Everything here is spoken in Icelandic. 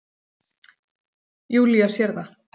Júlía sér það.